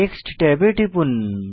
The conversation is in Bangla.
টেক্সট ট্যাবে টিপুন